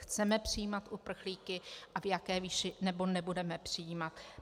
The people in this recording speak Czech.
Chceme přijímat uprchlíky a v jaké výši, nebo nebudeme přijímat.